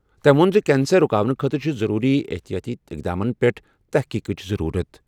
تٔمۍ ووٚن زِ کینسر رُکاونہٕ خٲطرٕ چھِ ضروٗری احتِیاطی اقداماتن پٮ۪ٹھ تحقیقٕچ ضروٗرت۔